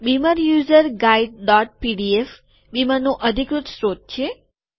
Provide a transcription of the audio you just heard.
beamer user guide dot PDF બીમરનું અધિકૃત સ્ત્રોત છે